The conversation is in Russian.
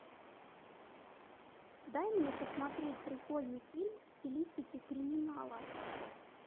дай мне посмотреть прикольный фильм в стилистике криминала